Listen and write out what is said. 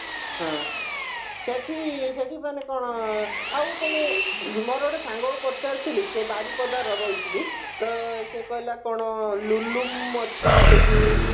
ହଁ ସେଠି ମାନେ କଣ ଆଉ କଣ ମୋର ଗୋଟେ ସାଙ୍ଗକୁ ପଚାରିଥିଲି ସେ ବାରିପଦାର ରହିଛି ତ ସେ କହିଲା କଣ ଲୁଲୁମ ଅଛି ସେଠି